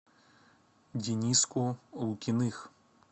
дениску лукиных